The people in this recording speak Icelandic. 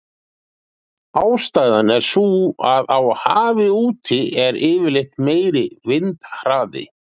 Ástæðan er sú að á hafi úti er yfirleitt meiri vindhraði.